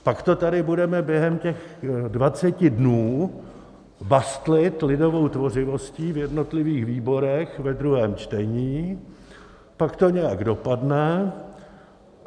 Pak to tady budeme během těch dvaceti dnů bastlit lidovou tvořivostí v jednotlivých výborech ve druhém čtení, pak to nějak dopadne.